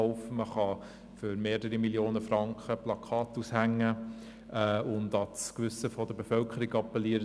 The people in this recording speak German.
Man kann für mehrere Millionen Franken Plakate aufhängen und an das Gewissen der Bevölkerung appellieren.